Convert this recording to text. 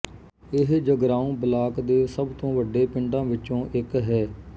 ਇਹ ਜਗਰਾਓਂ ਬਲਾਕ ਦੇ ਸਭ ਤੋਂ ਵੱਡੇ ਪਿੰਡਾਂ ਵਿੱਚੋਂ ਇੱਕ ਹੈ